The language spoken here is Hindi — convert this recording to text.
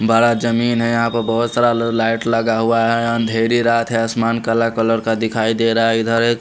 बारा जमीन है यहा पे बोहोत सारा लाइट लगा हुआ है अंधेरी रात है आसमान काला कलर का दिखाई दे रहा है इधर एक--